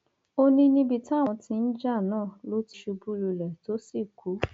ó ní níbi táwọn tí ń jà náà ló ti ṣubú lulẹ tó sì kú